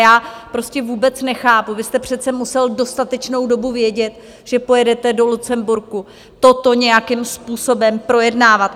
Já prostě vůbec nechápu, vy jste přece musel dostatečnou dobu vědět, že pojedete do Lucemburku toto nějakým způsobem projednávat.